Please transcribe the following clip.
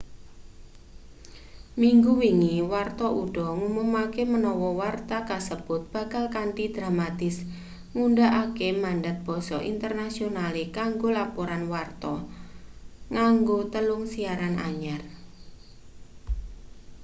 minggu wingi warta uda ngumumake menawa warta kasebut bakal kanthi dramatis ngundhakake mandat basa internasionale kanggo laporan warta nganggo telung siaran anyar